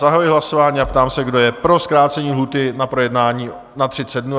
Zahajuji hlasování a ptám se, kdo je pro zkrácení lhůty na projednání na 30 dnů?